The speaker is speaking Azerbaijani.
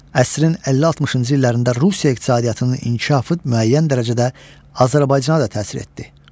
Əsrin 50-60-cı illərində Rusiya iqtisadiyyatının inkişafı müəyyən dərəcədə Azərbaycana da təsir etdi.